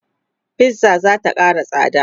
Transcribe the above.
fizza zata Kara tsada